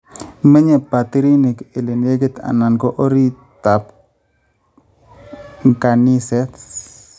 Menye batiriinik ele nekit anan ko orititab nkanaset